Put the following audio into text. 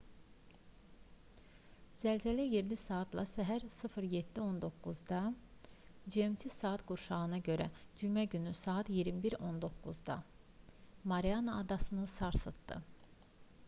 zəlzələ yerli saatla səhər 07:19-da gmt saat qurşağına görə cümə günü saat 21:19 mariana adasını sarsıtdı